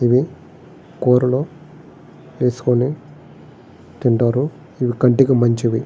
ఇవి కూరలో వేసుకొని తింటారు. ఇది కంటికి మంచిది.